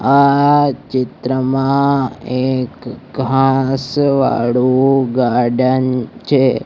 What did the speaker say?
આ ચિત્રમાં એક ઘાંસ વાડુ ગાર્ડન છે.